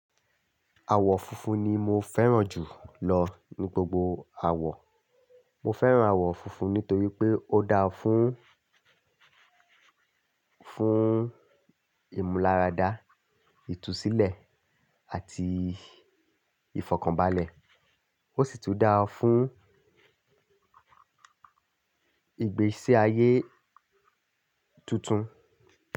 Àwọ̀ funfun ni mo fẹ́ràn jù lọ ní gbogbo àwọ̀. Mo fẹ́ràn àwọ̀ funfun nítorí pé ó dára fún, fún ìmúláradá, ìtúsílẹ̀ àti ìfọ̀kànbalẹ̀. Ó sì tún dára fún ìgbésí ayé tuntun.